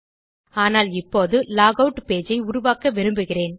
ஆனால் இப்போது log out page ஐ உருவாக்க விரும்புகிறேன்